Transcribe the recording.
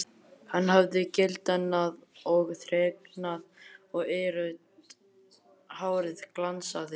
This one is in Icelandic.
Hann hafði gildnað og þreknað og eirrautt hárið glansaði.